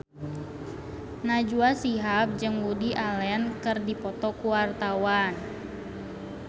Najwa Shihab jeung Woody Allen keur dipoto ku wartawan